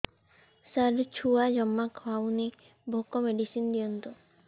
ସାର ଛୁଆ ଜମା ଖାଉନି ଭୋକ ମେଡିସିନ ଦିଅନ୍ତୁ